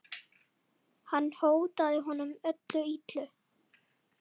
Hann hótaði honum öllu illu.